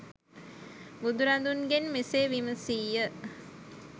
බුදුරදුන්ගෙන් මෙසේ විමසී ය.